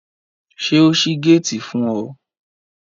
Ṣé o ṣí géètì fún ọ?